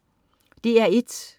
DR1: